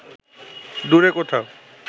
দূরে কোথাও